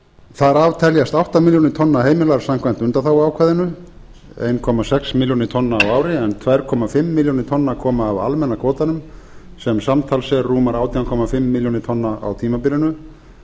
þar af teljast átta milljónir tonna heimilar samkvæmt undanþáguákvæðinu en tvö og hálfa milljón tonna koma af almenna kvótanum sem samtals er rúmar átján og hálfa milljón tonna á tímabilinu